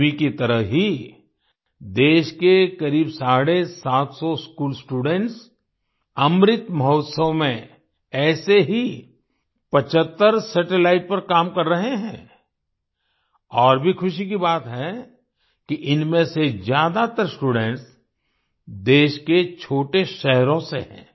तन्वी की तरह ही देश के करीब साढ़े सात सौ स्कूल स्टूडेंट्स अमृत महोत्सव में ऐसे ही 75 सैटेलाइट्स पर काम कर रहे हैं और भी खुशी की बात है कि इनमें से ज्यादातर स्टूडेंट्स देश के छोटे शहरों से हैं